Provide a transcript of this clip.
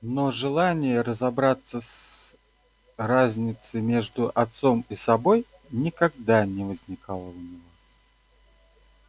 но желания разобраться с разнице между отцом и собой никогда не возникало у него